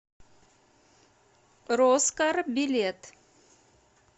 роскар билет